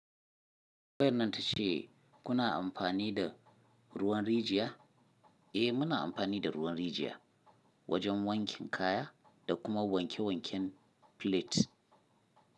Tambayar nan ta ce kuna amfani da ruwan rijiya? Eh muna amfani da ruwan rijiya wajen wankin kaya da kuma wanke wanken flets.